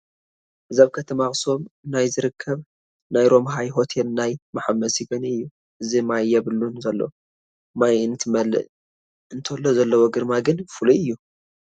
እዚ ኣብ ከተማ ኣኽሱም ናይ ዝርከብ ናይ ሮምሃይ ሆቴል ናይ መሓመሲ ገንኢ እዩ፡፡ ሕዚ ማይ የብሉን ዘሎ፡፡ ማይ እንትመልእ እንተሎ ዘለዎ ግርማ ግን ፍሉይ እዩ፡፡